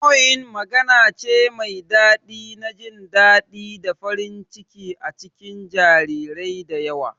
Cooing magana ce mai daɗi na jin daɗi da farin ciki a cikin jarirai da yawa